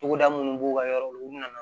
Togoda minnu b'u ka yɔrɔ la u bɛna na